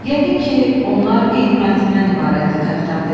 "Yəqin ki, onlar eyni mətndən ibarətdir," kapitan dedi.